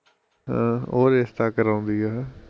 ਹਾਂ, ਉਹ ਰਿਸ਼ਤਾ ਕਰਾਉਂਦੀ ਐ